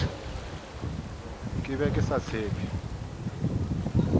ke be ke sa tshephe